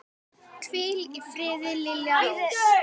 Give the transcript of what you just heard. Hvíl í friði, Lilja Rós.